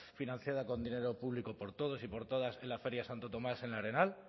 financiada con dinero público por todos y por todas en la feria de santo tomás en el arenal